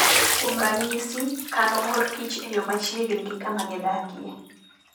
Kuom ranyisi, kano mor kich e yo machiegni gi kama gidakie.